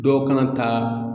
Dɔ kan ka taa